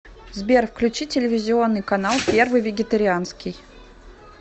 сбер включи телевизионный канал первый вегетарианский